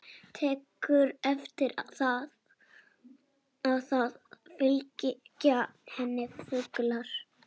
Tekur eftir að það fylgja henni fuglar.